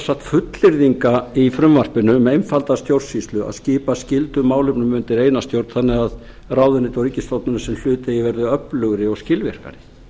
sagt fullyrðinga í frumvarpinu um einfalda stjórnsýslu að skipa skyldum málefnum undir eina stjórn þannig að ráðuneyti og ríkisstofnanir sem í hlut eiga verði öflugri og skilvirkari